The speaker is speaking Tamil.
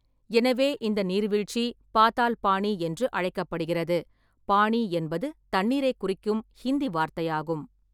எனவே, இந்த நீர்வீழ்ச்சி பாதால்-பானி என்று அழைக்கப்படுகிறது, பானி என்பது தண்ணீரைக் குறிக்கும் ஹிந்தி வார்த்தையாகும்.